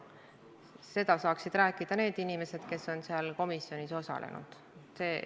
Seda saaksid rääkida need inimesed, kes on seal komisjonis osalenud.